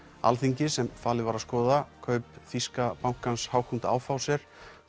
Alþingis sem falið var að skoða kaup þýska bankans Hauck og Aufhäuser